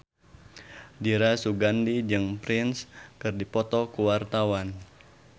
Dira Sugandi jeung Prince keur dipoto ku wartawan